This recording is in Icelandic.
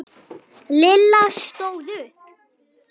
Lilla stóð upp.